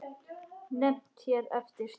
Nefnd hér eftir: Stríð.